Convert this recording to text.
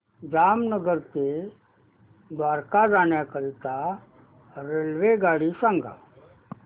जामनगर ते द्वारका जाण्याकरीता रेल्वेगाडी सांग